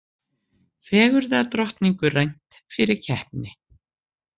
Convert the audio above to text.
Fegurðardrottningu rænt fyrir keppni